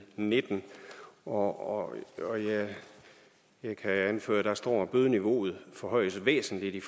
nitten og og jeg kan anføre at der står at bødeniveauet forhøjes væsentligt i